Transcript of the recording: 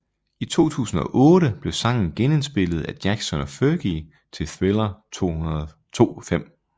I 2008 blev sangen genindspillet af Jackson og Fergie til Thriller 25